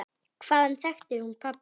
Hvaðan þekkti hún pabba?